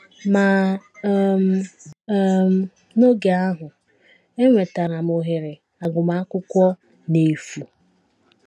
Ma um, um n’oge ahụ, enwetara m ohere agụmakwụkwọ n’efu.